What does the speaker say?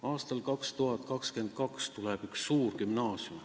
Aastal 2022 tuleb üks suur gümnaasium.